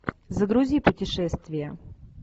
загрузи путешествия